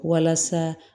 Walasa